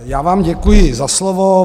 Já vám děkuji za slovo.